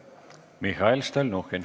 Mihhail Stalnuhhin.